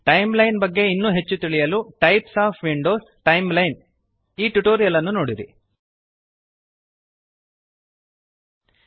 timeline ಬಗ್ಗೆ ಇನ್ನೂ ಹೆಚ್ಚು ತಿಳಿಯಲು types of Windows -Timeline types of Windows timeline ಈ ಟ್ಯುಟೋರಿಯಲ್ ನೋಡಿರಿ